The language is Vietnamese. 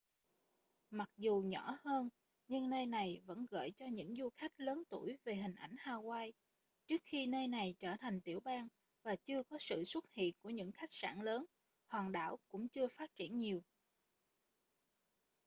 mặc dù nhỏ hơn nhưng nơi này vẫn gợi cho những du khách lớn tuổi về hình ảnh hawaii trước khi nơi này trở thành tiểu bang và chưa có sự xuất hiện của những khách sạn lớn hòn đảo cũng chưa phát triển nhiều